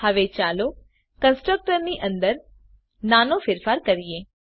હવે ચાલો કન્સ્ટ્રકટર ની અંદર નાનો ફેરફાર કરીએ